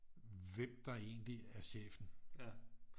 Hvem der egentlig er chefen